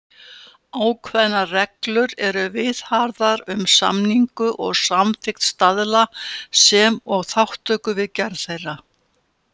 Ákveðnar reglur eru viðhafðar um samningu og samþykkt staðla, sem og þátttöku við gerð þeirra.